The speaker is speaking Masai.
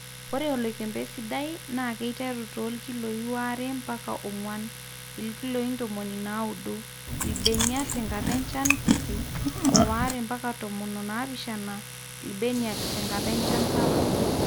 ore oloikembe sidai naa keiteru toolkilioi waare mpaka oonguan(ilkiloi ntomoni naudo)ilbenia tenkata enchan kiti, o waare mpaka tomon o naapishana ilbeniak te nkata enchan sapuk